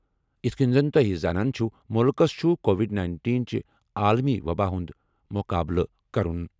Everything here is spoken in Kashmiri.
یِتھ کٔنۍ زَن تۄہہِ زانان چھِو، مُلکَس چھُ کووِڈ نَینٹین چہِ عالمی وبا ہُنٛد مُقابلہٕ کرُن